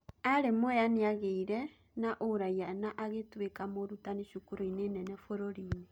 Arĩ Mwea nĩageirĩ na ũraia na agĩtuĩka mũrutani cukuruinĩ nene bũrũrinĩ